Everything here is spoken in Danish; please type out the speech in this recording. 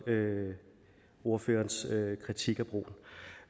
ordførerens kritik